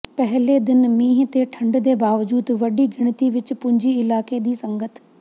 ਪਹਿਲੇ ਦਿਨ ਮੀਂਹ ਤੇ ਠੰਢ ਦੇ ਬਾਵਜੂਦ ਵੱਡੀ ਗਿਣਤੀ ਵਿੱਚ ਪੁੱਜੀ ਇਲਾਕੇ ਦੀ ਸੰਗਤ